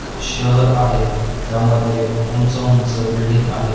शहर आहे त्यामध्ये ऊंच ऊंच बिल्डींग आहेत .